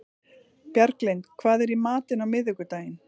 Bjarglind, hvað er í matinn á miðvikudaginn?